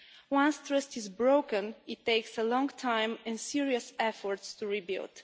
Once trust is broken, it takes a long time and serious efforts to rebuild.